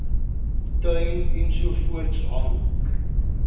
tuin ensovoorts hang